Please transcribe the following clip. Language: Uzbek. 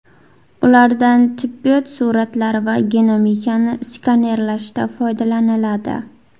Ulardan tibbiyot suratlari va genomikani skanerlashda foydalaniladi.